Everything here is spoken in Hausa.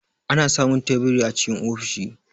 Ana samun teburi a cikin ofishi.